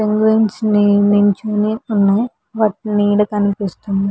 Penguins నిల్చుని ఉన్నాయి వాటి నీడ కనిపిస్తుంది.